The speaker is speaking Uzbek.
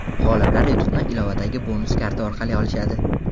G‘oliblar yutuqni ilovadagi bonus karta orqali olishadi.